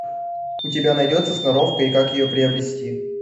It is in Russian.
у тебя найдется сноровка и как ее приобрести